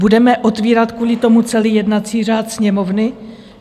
Budeme otvírat kvůli tomu celý jednací řád Sněmovny?